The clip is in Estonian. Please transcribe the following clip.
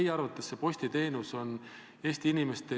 Ühesõnaga, te ei ole algatanud EAS-i suhtes mingeid järelevalvetoiminguid?